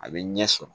A bɛ ɲɛ sɔrɔ